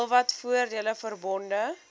heelwat voordele verbonde